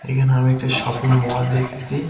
এখানে আমি একটা শপিং মল দেখতেছি.